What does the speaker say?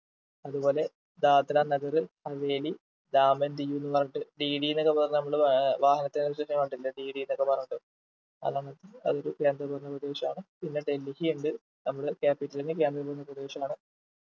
അതുപോലെ ദാദ്ര നഗർ ഹവേലി ധാം and ഡിയു ന്ന് പറഞ്ഞിട്ട് dd ന്നൊക്കെ പറഞ്ഞ് നമ്മള് വാഹനത്തേൽ ഒക്കെ കണ്ടിട്ടില്ലേ dd ന്നൊക്കെ പറഞ്ഞിട്ട് അതൊരു കേന്ദ്ര ഭരണ പ്രദേശാണ് പിന്നെ ഡൽഹി ഉണ്ട് നമ്മുടെ Capital കേന്ദ്ര ഭരണ പ്രദേശാണ്